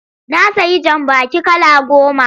Na sayi jambaki kala goma.